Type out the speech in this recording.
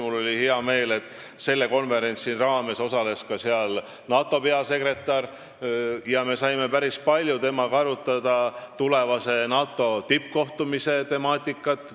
Mul oli hea meel, et sellel konverentsil osales ka NATO peasekretär, kellega me saime päris palju, mitme tunni vältel, arutada tulevase NATO tippkohtumise temaatikat.